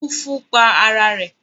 Mufu pa ara ẹ̀